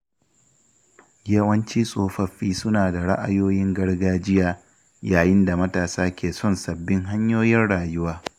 Yawanci tsofaffi suna da ra’ayoyin gargajiya, yayin da matasa ke son sabbin hanyoyin rayuwa.